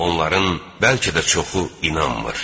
Onların bəlkə də çoxu inanmır.